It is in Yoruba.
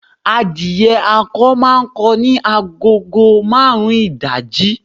Adìyẹ akọ máa ń kọ ní agogo marun ìdájí